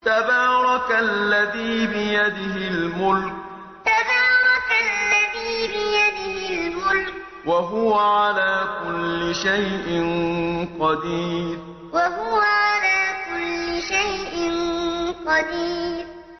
تَبَارَكَ الَّذِي بِيَدِهِ الْمُلْكُ وَهُوَ عَلَىٰ كُلِّ شَيْءٍ قَدِيرٌ تَبَارَكَ الَّذِي بِيَدِهِ الْمُلْكُ وَهُوَ عَلَىٰ كُلِّ شَيْءٍ قَدِيرٌ